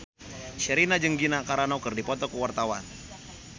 Sherina jeung Gina Carano keur dipoto ku wartawan